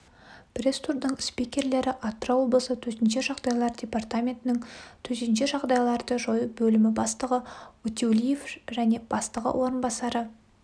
пресс-турдың спикерлері атырау облысы төтенше жағдайлар департаментінің төтенше жағдайларды жою бөлімі бастығы утеулиев және бастығы орынбасары